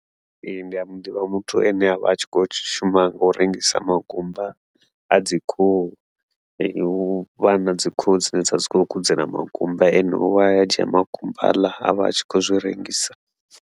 Ee, ndia muḓivha muthu ane avha a tshi khou shuma ngau rengisa makumba adzi khuhu, huvha nadzi khuhu dzine dzavha dzi khou kudzela makumba ene uya a dzhia makumba haḽa avha atshi khou zwi rengisa.